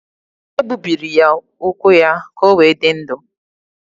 E gbubiri ụkwụ ya ka o wee dị ndụ.